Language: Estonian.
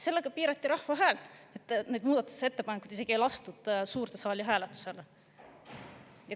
Sellega piirati rahva häält, et neid muudatusettepanekuid isegi ei lastud suurde saali hääletusele.